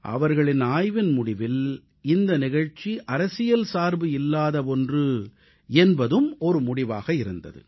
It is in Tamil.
அவர்களின் ஆய்வின் முடிவில் இந்த நிகழ்ச்சி அரசியல் சார்பு இல்லாத ஒன்று என்பதும் ஒரு முடிவாக இருந்தது